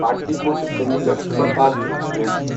Pataliputra Chandigarh superfast express